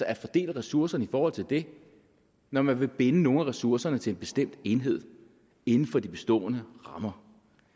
at fordele ressourcerne i forhold til det når man vil binde nogle af ressourcerne til en bestemt enhed inden for de bestående rammer